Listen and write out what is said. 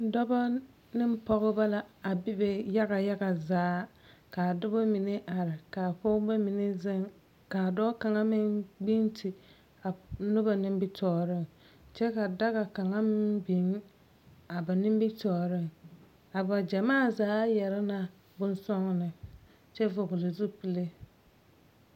Dɔba ne Pɔgeba la a bebe yaga yaga. Kaa dɔbɔ mine are kaa Pɔgebɔ mine zeŋ. Kaa dɔɔ kaŋa meŋ gbinti a noba nimitɔɔreŋ. Kyɛ ka daga kaŋa meŋ biŋ a ba nimitɔɔriŋ. A ba gyamaa zaa yare la bonsɔgɔne kyɛ vɔgene zupele.